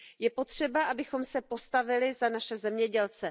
Je potřeba, abychom se postavili za naše zemědělce.